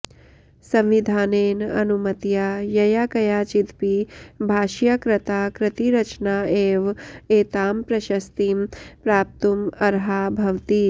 संविधानेन अनुमतया ययाकयाचिदपि भाषया कृता कृतिरचना एव एतां प्रशस्तिं प्राप्तुम् अर्हा भवति